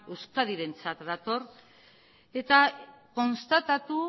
euskadirentzat dator eta konstatatu